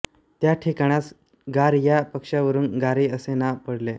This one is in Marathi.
त्या ठिकाणास घार या पक्षावरून घारी असे नाव पडले